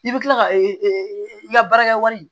I bɛ kila ka e ka baarakɛwari